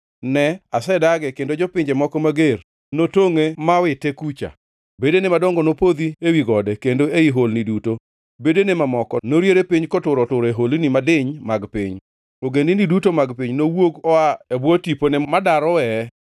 Ne asedage kendo jopinje moko mager notongʼe mowite kucha. Bedene madongo nopodho ewi gode kendo ei holni duto; bedene mamoko noriere piny kotur otur e holni madiny mag piny. Ogendini duto mag piny nowuok oa e bwo tipone modar oweye.